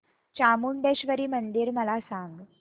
चामुंडेश्वरी मंदिर मला सांग